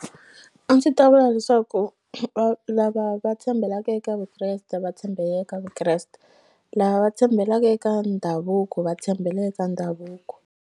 A ndzi ta vula leswaku va lava va tshembelaka eka vukreste va tshembela eka vukreste lava tshembelaka eka ndhavuko va tshembela eka ndhavuko.